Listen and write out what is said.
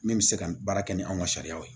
Min bɛ se ka baara kɛ ni anw ka sariyaw ye